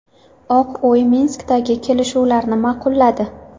Oq uy Minskdagi kelishuvlarni ma’qulladi.